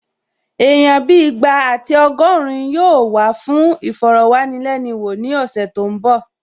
Èèyàn bíi ìgbà àti ọgọ́rin yóò wá fún ìfọ̀rọ̀wánilẹ́nuwò ní ọ̀sẹ̀ tó n bọ̀